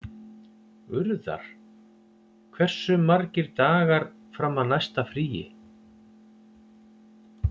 Urðar, hversu margir dagar fram að næsta fríi?